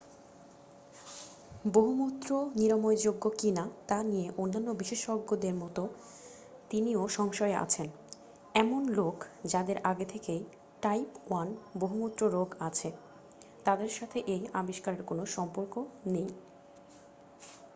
বহুমূত্র নিরাময়যোগ্য কিনা তা নিয়ে অন্যান্য বিশেষজ্ঞদের মতো তিনিও সংশয়ে আছেন এমন লোক যাদের আগে থেকেই টাইপ 1 বহুমূত্র রোগ আছে তাদের সাথে এই আবিস্কারের কোনও সম্পর্ক নেই